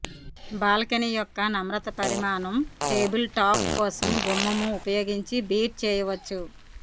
balcony యొక్క నమ్రత పరిమాణం టేబుల్ టాప్ కోసం గుమ్మము ఉపయోగించి బీట్ చేయవచ్చు